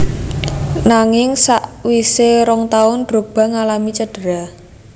Nanging sakwisè rong taun Drogba ngalami cedera